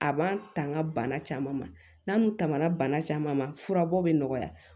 A b'an tanga bana caman ma n'an dun tanmana bana caman ma furabɔ bɛ nɔgɔya